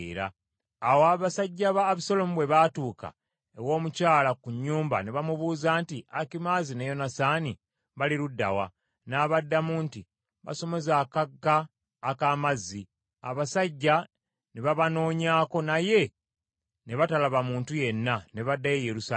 Awo abasajja ba Abusaalomu bwe batuuka ew’omukyala ku nnyumba, ne bamubuuza nti, “Akimaazi ne Yonasaani bali ludda wa?” N’abaddamu nti, “Basomose akagga ak’amazzi.” Abasajja ne babanoonyako naye ne batalaba muntu yenna, ne baddayo e Yerusaalemi.